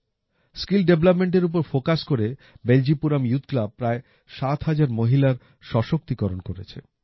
skill development এর ওপর focus করে বেলজিপুরাম ইউথ ক্লাব প্রায় ৭০০০ মহিলার সশক্তিকরণ করেছে